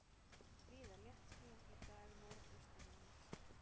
Víða léttskýjað í dag norðaustanlands